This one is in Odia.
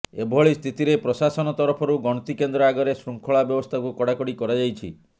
ଏଭିଳି ସ୍ଥିତିରେ ପ୍ରଶାସନ ତରଫରୁ ଗଣତି କେନ୍ଦ୍ର ଆଗରେ ଶୃଙ୍ଖଳା ବ୍ୟବସ୍ତାକୁ କଡାକଡି କରାଯାଇଛି